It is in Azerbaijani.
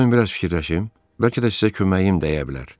Qoyun biraz fikirləşim, bəlkə də sizə köməyim dəyə bilər.